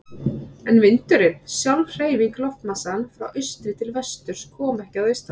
En vindurinn, sjálf hreyfing loftmassans frá austri til vesturs, kom ekki að austan.